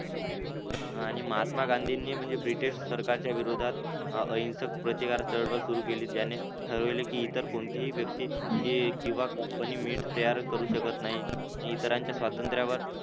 आणि महात्मा गांधींनी म्हणजे ब्रिटिश सरकारच्या विरोधात हिंसक प्रतिकारक चळवळ सुरू केली त्याने ठरविले की तर कोणतीही व्यक्ती कंपनी मीठ तयार करू शकत नाही इतरांच्या स्वातंत्र्यावर